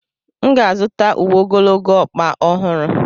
M ga-azụta uwe ogologo ọkpa ọhụrụ.